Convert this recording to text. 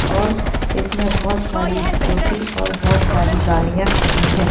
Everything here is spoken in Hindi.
और इसमें बहुत सारी स्कूटी और बहुत सारि गाड़ियाँ खड़ी है।